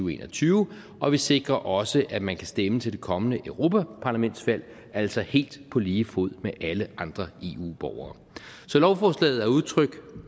og en og tyve og vi sikrer også at man kan stemme til det kommende europaparlamentsvalg altså helt på lige fod med alle andre eu borgere så lovforslaget er udtryk